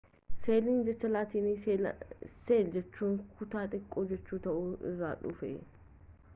seeliin jecha laatinii seelaa jechuunis kutaa xiqqoo jechu ta'ee irraa dhufee